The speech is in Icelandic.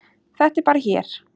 Þetta er bara hér.